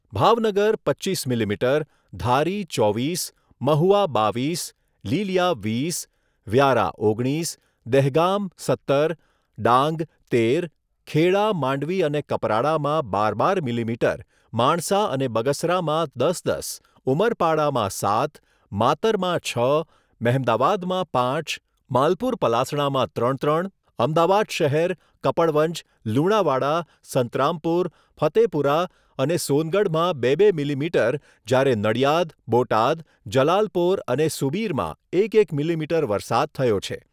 ભાવનગર પચ્ચીસ મીલીમીટર, ધારી ચોવીસ, મહુવા બાવીસ, લીલીયા વીસ, વ્યારા ઓગણીસ, દહેગામ સત્તર, ડાંગ તેર, ખેડા, માંડવી અને કપરાડામાં બાર બાર મીલીમીટર માણસા અને બગસરામાં દસ દસ, ઉમરપાડામાં સાત, માતરમાં છ, મહેમદાવાદમાં પાંચ, માલપુર પલાસણામાં ત્રણ ત્રણ, અમદાવાદ શહેર, કપડવંજ, લુણાવાડા, સંતરામપુર, ફતેપુરા અને સોનગઢમાં બે બે મીલીમીટર જ્યારે નડિયાદ બોટાદ, જલાલપોર અને સુબીરમાં એક એક મીલીમીટર વરસાદ થયો છે.